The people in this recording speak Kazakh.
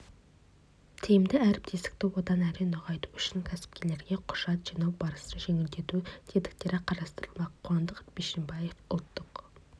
тиімді әріптестікті одан әрі нығайту үшін кәсіпкерлерге құжат жинау барысын жеңілдету тетіктері қарастырылмақ қуандық бишімбаев ұлттық